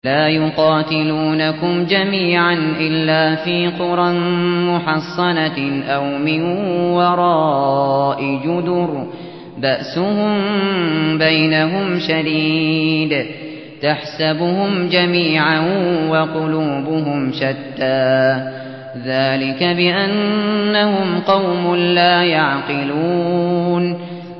لَا يُقَاتِلُونَكُمْ جَمِيعًا إِلَّا فِي قُرًى مُّحَصَّنَةٍ أَوْ مِن وَرَاءِ جُدُرٍ ۚ بَأْسُهُم بَيْنَهُمْ شَدِيدٌ ۚ تَحْسَبُهُمْ جَمِيعًا وَقُلُوبُهُمْ شَتَّىٰ ۚ ذَٰلِكَ بِأَنَّهُمْ قَوْمٌ لَّا يَعْقِلُونَ